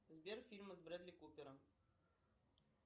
сбер фильмы с брэдли купером